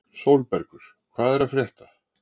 Sólbergur, hvað er að frétta?